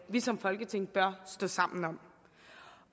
vi som folketing bør stå sammen om